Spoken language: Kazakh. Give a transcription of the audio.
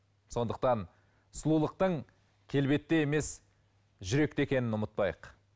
сондықтан сұлулықтың келбетте емес жүректе екенін ұмытпайық